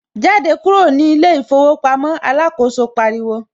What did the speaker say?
Jáde kúrò ní ilé ìfowópamọ́ ' alákòóso pariwo